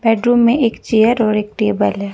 Bedroom में एक chair और एक टेबल है।